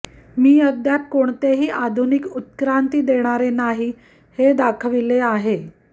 मी अद्याप कोणतेही आधुनिक उत्क्रांती देणारे नाही हे दाखविलेले आहे